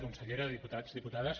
consellera diputats diputades